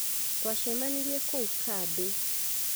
Twachemanirie kũu kambi